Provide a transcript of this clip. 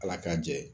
Ala k'a jɛ